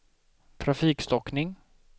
trafikstockning